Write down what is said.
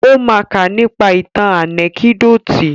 Ó ma ká nípa ìtàn ànẹ́kídòtì.